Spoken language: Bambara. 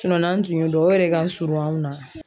n'an tun y'o dɔn o yɛrɛ de ka surun anw na